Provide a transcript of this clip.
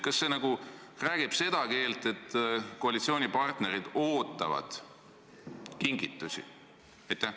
Kas see nagu räägib seda keelt, et koalitsioonipartnerid ootavad kingitusi?